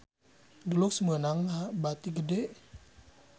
Dulux meunang bati gede